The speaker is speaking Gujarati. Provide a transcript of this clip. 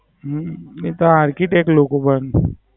હમ એતો Architect લોકો પણ